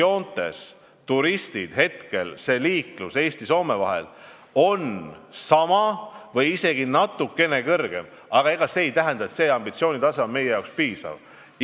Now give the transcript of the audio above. Üldjoontes on turistide liiklus Eesti ja Soome vahel jäänud küll samaks või isegi natuke suurenenud, aga see ei tähenda, et see ambitsioonitase on meie jaoks piisav.